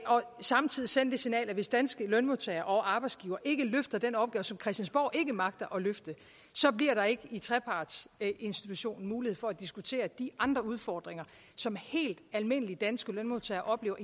samtidig sende det signal at hvis danske lønmodtagere og arbejdsgivere ikke løfter den opgave som christiansborg ikke magter at løfte så bliver der ikke i trepartsinstitutionen mulighed for at diskutere de andre udfordringer som helt almindelige danske lønmodtagere oplever